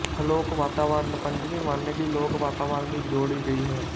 ਹਲੋਕ ਵਾਤਾਵਰਨ ਪੰਜਵੀਂ ਵੰਨਗੀ ਲੋਕ ਵਾਤਾਵਰਨ ਦੀ ਜੋੜੀ ਗਈ ਹੈ